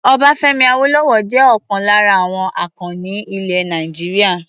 Ọbáfẹ́mi Awólọ́wọ̀ jẹ́ ọlkan lára àwọn akọni ilẹ̀ Nàìjíríà.